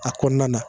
A kɔnɔna na